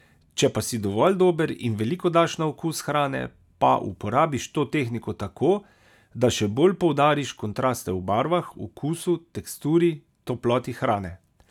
Če pa si dovolj dober in veliko daš na okus hrane, pa uporabiš to tehniko tako, da še bolj poudariš kontraste v barvah, okusu, teksturi, toploti hrane.